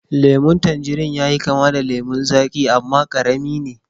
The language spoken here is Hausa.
lemun tanjirin yayi kama da lemun zaƙi amma karami ne